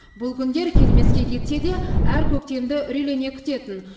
бұл күндер келмеске кетсе де әр көктемді үрейлене күтетін